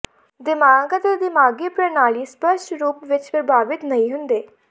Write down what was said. ਦਿਮਾਗ ਅਤੇ ਦਿਮਾਗੀ ਪ੍ਰਣਾਲੀ ਸਪਸ਼ਟ ਰੂਪ ਵਿੱਚ ਪ੍ਰਭਾਵਿਤ ਨਹੀਂ ਹੁੰਦੇ